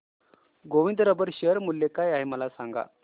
Govind rubber share मूल्य काय आहे मला सांगा